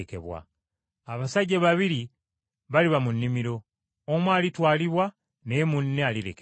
Abasajja babiri baliba mu nnimiro, omu alitwalibwa naye munne alirekebwa.”